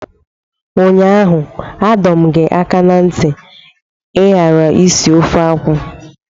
Ụnyaahụ adọ m gị aka na ntị ka ị ghara isi ofe akwụ!